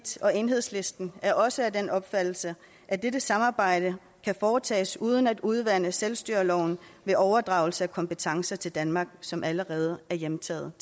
og enhedslisten er også af den opfattelse at dette samarbejde kan foretages uden at udvande selvstyreloven ved overdragelse af kompetencer til danmark som allerede er hjemtaget